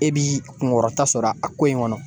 E b'i kunkɔrɔta sɔrɔ a ko in kɔnɔ